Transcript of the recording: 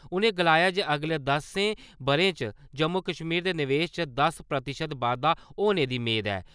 उ'नें गलाया जे अगले दस्सें ब'रें च जम्मू-कश्मीर दे निवेश च दस प्रतिशत बाद्दा होने दी मेद ऐ।